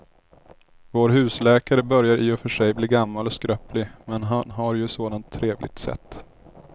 Vår husläkare börjar i och för sig bli gammal och skröplig, men han har ju ett sådant trevligt sätt!